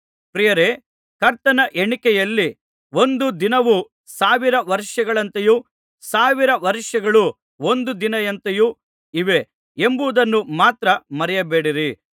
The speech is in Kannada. ಪ್ರಿಯರೇ ಕರ್ತನ ಎಣಿಕೆಯಲ್ಲಿ ಒಂದು ದಿನವು ಸಾವಿರ ವರ್ಷಗಳಂತೆಯೂ ಸಾವಿರ ವರ್ಷಗಳು ಒಂದು ದಿನದಂತೆಯೂ ಇವೆ ಎಂಬುದನ್ನು ಮಾತ್ರ ಮರೆಯಬೇಡಿರಿ